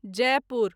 Jaipur